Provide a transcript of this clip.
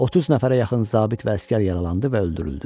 30 nəfərə yaxın zabit və əsgər yaralandı və öldürüldü.